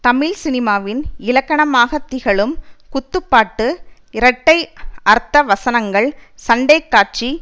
தமிழ் சினிமாவின் இலக்கணமாக திகழும் குத்துப்பாட்டு இரட்டை அர்த்த வசனங்கள் சண்டைக்காட்சி